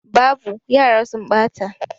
Babu, yara sun ɓata